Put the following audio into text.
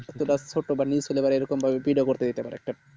ছোট্ট বা ছোট্টো বা new ছিলো এই রকম ভাবে ভিডিও করতে